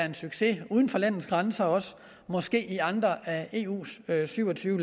en succes uden for landets grænser måske i andre af eus syv og tyve